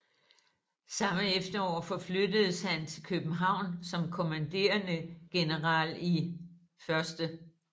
Samme efterår forflyttedes han til København som kommanderende general i 1